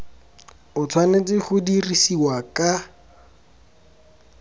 o tshwanetse go dirisiwa ka